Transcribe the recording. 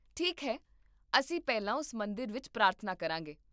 ਠੀਕ ਹੈ, ਅਸੀਂ ਪਹਿਲਾਂ ਉਸ ਮੰਦਰ ਵਿੱਚ ਪ੍ਰਾਰਥਨਾ ਕਰਾਂਗੇ